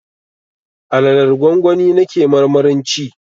Alalar gwangwani na ke marmarin ci